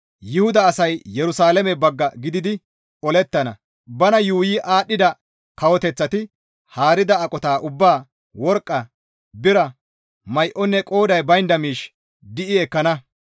Yuhuda asay Yerusalaame bagga gididi olettana; bana yuuyi aadhdhida kawoteththati haarida aqota ubbaa worqqa, bira, may7onne qooday baynda miish di7i ekkana.